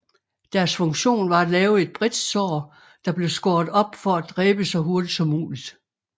Deres funktion var at lave et bredt sår der blev skåret op for at dræbe så hurtigt som muligt